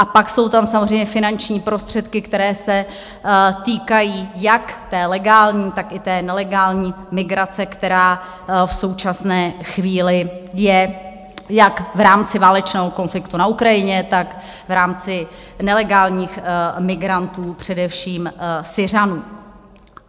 A pak jsou tam samozřejmě finanční prostředky, které se týkají jak té legální, tak i té nelegální migrace, která v současné chvíli je jak v rámci válečného konfliktu na Ukrajině, tak v rámci nelegálních migrantů, především Syřanů.